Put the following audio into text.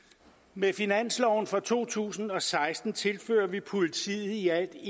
med finansloven for to tusind og seksten tilfører vi politiet i alt